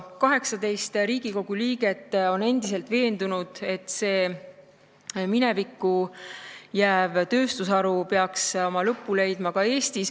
18 Riigikogu liiget on endiselt veendunud, et see minevikku jääv tööstusharu peaks oma lõpu leidma ka Eestis.